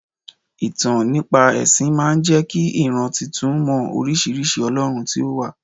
Ìtàn nípa ẹ̀sìn máa ń jẹ́ kí ìran titun mọ oríṣiríṣi olorun tí ó wà.